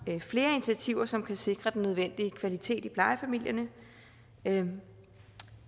flere initiativer som kan sikre den nødvendige kvalitet i plejefamilierne